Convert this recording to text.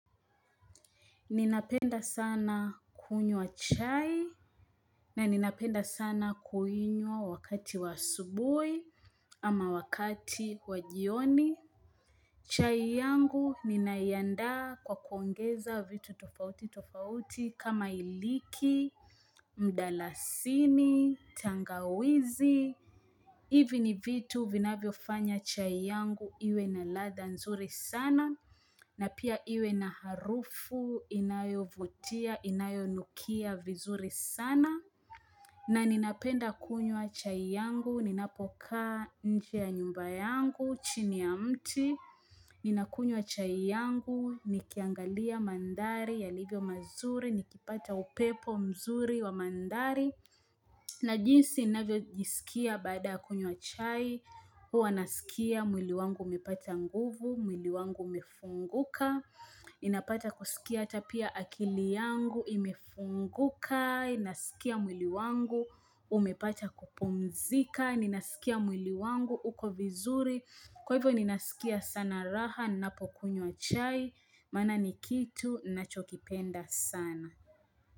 Ninapenda sana kunywa chai na ninapenda sana kuinywa wakati wa asubuhi ama wakati wa jioni. Chai yangu ninaiandaa kwa kuongeza vitu tofauti tofauti kama iliki, mdalasini, tangawizi. Hivi ni vitu vinavyo fanya chai yangu iwe na ladha nzuri sana na pia iwe na harufu inayo vutia inayo nukia vizuri sana na ninapenda kunywa chai yangu ninapokaa nje ya nyumba yangu chini ya mti ninakunywa chai yangu nikiangalia mandhari yalivyo mazuri nikipata upepo mzuri wa mandhari na jinsi inavyo jisikia baada kunywa chai, huwa nasikia mwili wangu umepata nguvu, mwili wangu umefunguka, inapata kusikia ata pia akili yangu imefunguka, inasikia mwili wangu umepata kupumzika, inasikia mwili wangu uko vizuri, kwa hivyo ninasikia sana raha napo kunywa chai, maana ni kitu ninachokipenda sana.